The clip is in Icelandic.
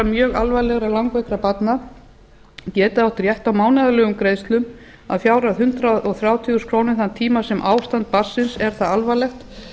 mjög alvarlega langveikra barna geti átt rétt á mánaðarlegum greiðslum að fjárhæð hundrað þrjátíu þúsund krónur þann tíma sem ástand barnsins er það alvarlegt